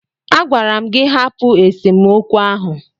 Agwara m gị hapụ esemokwu ahụ!